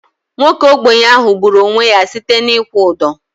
Nwoke ogbenye ahu gburu onwe ya site na ịkwụ ụdọ